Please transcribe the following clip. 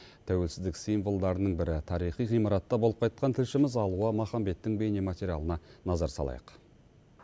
тәуелсіздік символдарының бірі тарихи ғимаратта болып қайтқан тілшіміз алуа махамбеттің бейнематериалына назар салайық